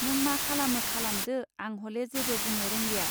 नों मा खालामो खालामदो आं हले जेबो बुंनो रोंलिया!.